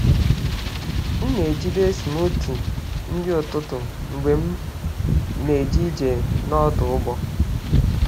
M na-ejide smoothie nri ụtụtụ mgbe m na-eje ije n’ọdụ ụgbọ.